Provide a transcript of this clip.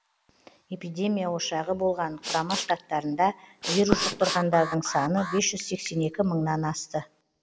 эпидемия ошағы болған құрама штаттарында вирус жұқтырғандардың саны бес жүз сексен екі мыңнан асты